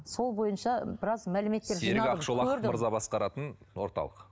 сол бойынша біраз мәліметтер серік ақшолақов мырза басқаратын орталық